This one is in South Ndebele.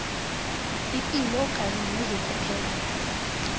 ipilo kanye nezokuphepha